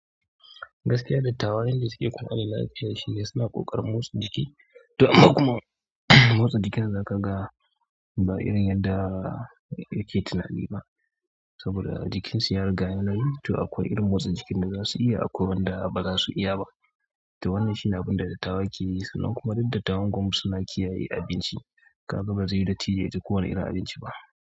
Gaskiya dattawan yadda suke kare lafiya shi ne suna ƙoƙarin motsa jiki. To amma kuma, motsa jikin zaka ga ba irin yadda yake tunani ba. Saboda jikinsu ya riga ya yi nauyi to akwai irin motsa jikin da zasu iya akwai wanda baza su iya ba. To wannan shine abunda dattawa ke yi sannan kuma duk dattawan kuma suna kiyaye abinci. Kaga ba zai yiwu dattijo ya ci kowani irin abinci ba.